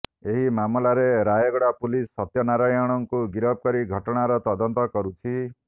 ଏହି ମାମଲାରେ ରାୟଗଡ଼ା ପୁଲିସ୍ ସତ୍ୟନାରାୟଣଙ୍କୁ ଗିରଫ କରି ଘଟଣାର ତଦନ୍ତ କରୁଛି